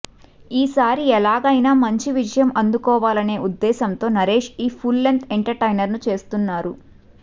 ఈసారి ఎలాగైనా మంచి విజయం అందుకోవాలనే ఉద్దేశ్యంతో నరేష్ ఈ ఫుల్ లెంగ్త్ ఎంటర్టైనర్ ను చేస్తున్నారు